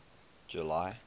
july